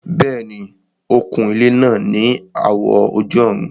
Bẹ́ẹ̀ni, ó kun ilẹ́ náà ní àwọ̀ ojú-ọ̀run